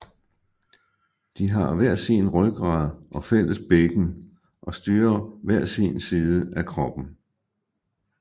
De har hver sin rygrad og fælles bækken og styrer hver sin side af kroppen